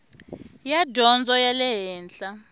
ya dyondzo ya le henhla